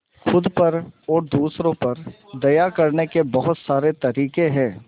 खुद पर और दूसरों पर दया करने के बहुत सारे तरीके हैं